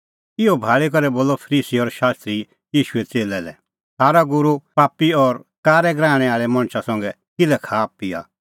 इहअ भाल़ी करै बोलअ फरीसी और शास्त्री ईशूए च़ेल्लै लै थारअ गूरू पापी और कारै गराहणै आल़ै मणछा संघै किल्है खाआपिआ